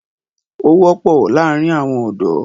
Ó wọ́pọ̀ láàrin àwọn ọ̀dọ́.